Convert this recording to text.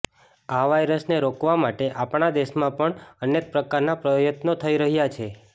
આ વાયરસને રોકવા માટે આપણા દેશમાં પણ અનેક પ્રકારના પ્રયત્નો થઈ રહ્યાં છે